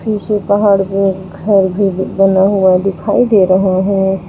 नीचे पहाड़ पे घर भी बना हुआ दिखाई दे रहा है।